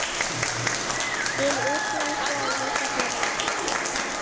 Til útlanda langar mig ekki.